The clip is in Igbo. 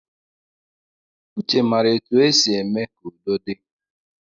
Uche mara etu e si eme ka udo di